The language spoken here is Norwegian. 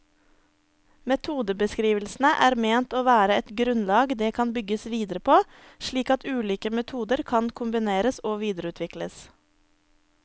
Metodebeskrivelsene er ment å være et grunnlag det kan bygges videre på, slik at ulike metoder kan kombineres og videreutvikles.